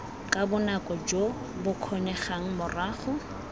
ka bonako jo bokgonegang morago